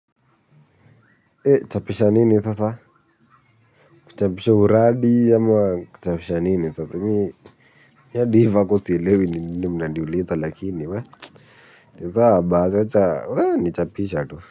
Chapisha nini sasa, kuchapisha uradi ama kuchapisha nini sasa, mi adi hii vako sielewi ni nini mnaniuliza lakini we, nisawa basi acha, we, nichapisha tu.